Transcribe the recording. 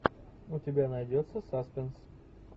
у тебя найдется саспенс